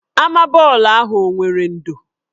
Ama bọọlụ ahụ o nwere ndò?